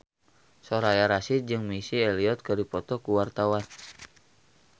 Soraya Rasyid jeung Missy Elliott keur dipoto ku wartawan